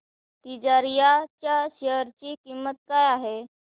तिजारिया च्या शेअर ची किंमत काय आहे